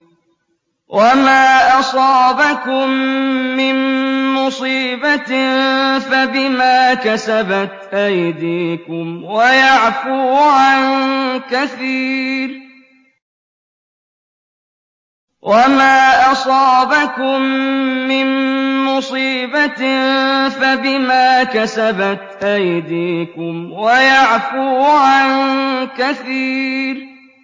وَمَا أَصَابَكُم مِّن مُّصِيبَةٍ فَبِمَا كَسَبَتْ أَيْدِيكُمْ وَيَعْفُو عَن كَثِيرٍ